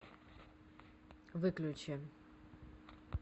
выключи